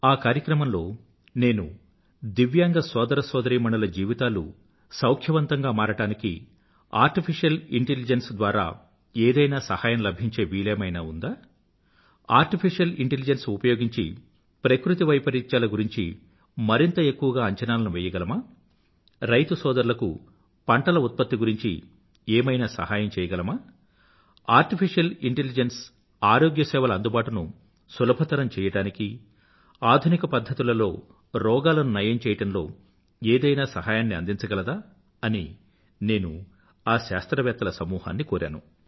ఆ కార్యక్రమంలో నేను దివ్యాంగ సోదరసోదరీమణుల జీవితాలు సౌఖ్యవంతంగా మారడానికి ఆర్టిఫిషియల్ ఇంటెలిజెన్స్ ద్వారా ఏదైనా సహాయం లభించే వీలేమైనా ఉందా ఆర్టిఫిషియల్ ఇంటెలిజెన్స్ ఉపయోగించి ప్రకృతి వైపరీత్యాల గురించి మరింత ఎక్కువగా అంచనాలను వెయ్యగలమా రైతుపోదరులకు పంటల ఉత్పత్తి గురించి ఏమైనా సహాయం చెయ్యగలమా ఆర్టిఫిషియల్ ఇంటెలిజెన్స్ ఆరోగ్య సేవల అందుబాటును సులభతరం చెయ్యడానికీ ఆధునికపధ్ధతులలో రోగాలను నయం చెయ్యడంలో ఏదైనా సహాయాన్ని అందించగలదా అని నేను ఆ శాస్త్రవేత్తల సమూహాన్ని కోరాను